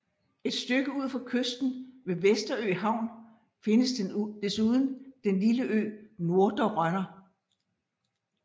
Et stykke ud for kysten ved Vesterø Havn findes desuden den lille ø Nordre Rønner